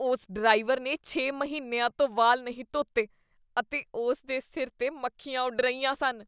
ਉਸ ਡਰਾਈਵਰ ਨੇ ਛੇ ਮਹੀਨਿਆਂ ਤੋਂ ਵਾਲ ਨਹੀਂ ਧੋਤੇ ਅਤੇ ਉਸ ਦੇ ਸਿਰ 'ਤੇ ਮੱਖੀਆਂ ਉੱਡ ਰਹੀਆਂ ਸਨ।